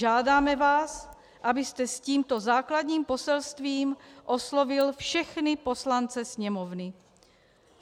Žádáme vás, abyste s tímto základním poselstvím oslovil všechny poslance Sněmovny.